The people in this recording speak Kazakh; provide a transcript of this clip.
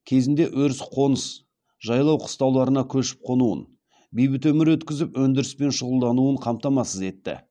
кезінде өріс қоныс жайлау қыстауларына көшіп қонуын бейбіт өмір өткізіп өндіріспен шұғылдануын қамтамасыз етті